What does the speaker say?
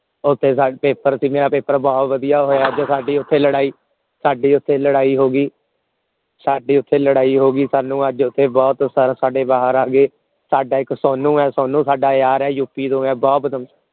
ਓਥੇ ਸ ਪੇਪਰ ਸੀ ਮੇਰਾ ਪੇਪਰ ਬਹੁਤ ਵਧੀਆ ਹੋਇਆ ਜੋ ਸਾਡੀ ਓਥੇ ਲੜਾਈ ਸਾਡੀ ਓਥੇ ਲੜਾਈ ਹੋ ਗਈ ਸਾਡੀ ਓਥੇ ਲੜਾਈ ਹੋ ਗਈ ਅੱਜ ਸਾਨੂ ਓਥੇ ਬਹੁਤ sir ਸਾਡੇ ਬਾਹਰ ਆ ਗਏ ਸਾਡਾ ਇੱਕ ਸੋਨੂ ਹੈ ਸੋਨੂ ਸਾਡਾ ਯਾਰ ਹੈ U. P. ਤੋਂ ਹੈ ਬਹੁਤ